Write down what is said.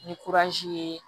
Ni ye